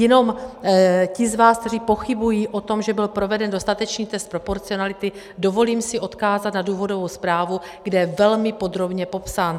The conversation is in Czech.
Jenom ty z vás, kteří pochybují o tom, že byl proveden dostatečný test proporcionality, dovolím si odkázat na důvodovou zprávu, kde je velmi podrobně popsán.